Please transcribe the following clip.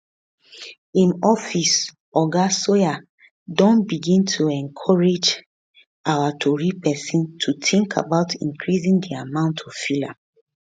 im office oga sawyer don begin to encourage our tori pesin to tink about increasing di amount of filler